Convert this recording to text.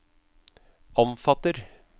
omfatter